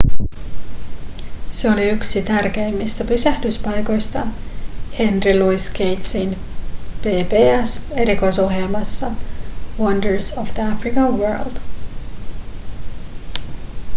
se oli yksi tärkeimmistä pysähdyspaikoista henry louis gatesin pbs-erikoisohjelmassa wonders of the african world